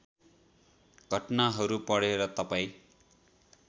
घटनाहरू पढेर तपाईँ